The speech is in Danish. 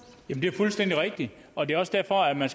fuldstændig rigtigt og det er også derfor man